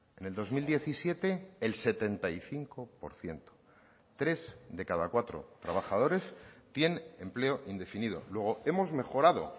en el dos mil diecisiete el setenta y cinco por ciento tres de cada cuatro trabajadores tiene empleo indefinido luego hemos mejorado